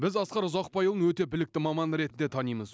біз асқар ұзақбайұлын өте білікті маман ретінде танимыз